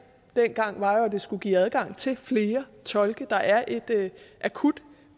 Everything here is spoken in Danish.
dengang var jo at det skulle give adgang til flere tolke der er et akut